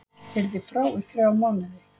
Yrði frá í þrjá mánuði